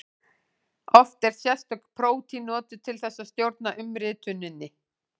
Oft eru sérstök prótín notuð til þess að stjórna umrituninni.